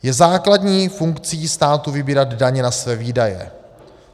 Je základní funkcí státu vybírat daně na své výdaje.